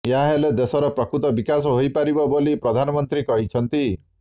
ଏହାହେଲେ ଦେଶର ପ୍ରକୃତ ବିକାଶ ହୋଇପାରିବ ବୋଲି ପ୍ରଧାନମନ୍ତ୍ରୀ କହିଛନ୍ତି